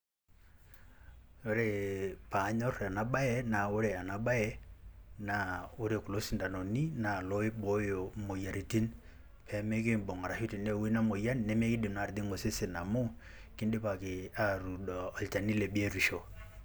Oree panyorr ena baye naa ore ena baye naa ore kulo sindanoni naa loiboyo moyaritin pemekiibung' arashu teneewuo ina muoyan nemekindim naa atijing'a osesen amu kindipaki atuudo olchani le biotisho.